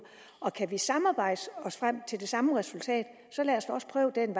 og kan vi samarbejde os frem til det samme resultat så lad os prøve den